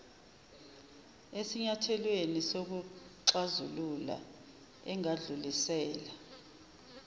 esinyathelweni sokuxazulula engadlulisela